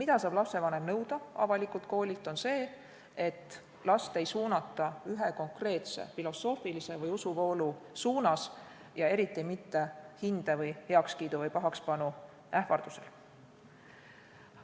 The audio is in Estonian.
Lapsevanem saab nõuda avalikult koolilt seda, et last ei suunata ühe konkreetse filosoofilise või usuvoolu suunas ja eriti mitte hinde või heakskiidu või pahakspanu ähvardusel.